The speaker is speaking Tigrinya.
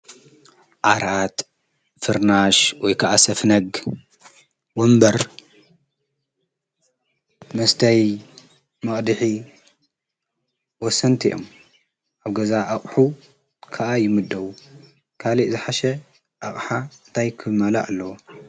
ዓርኣጥ ፍርናሽ ወይከዓ ሰፍነግ ወንበር መስተይ መቕድኂ ወሰንቲ እዮም ኣብ ገዛ ኣቕሑ ከዓ ይምድዉ ካልእ ዝሓሸ ኣቕሓ እንታይክመላ ኣለዎ።